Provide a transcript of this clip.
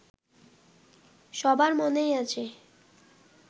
সবার মনেই আছে